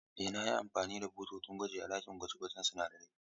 Ee, na yi amfani da bututun gwaji a cikin ɗakin gwaje-gwajen sunadarai.